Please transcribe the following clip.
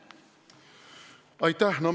Aitäh!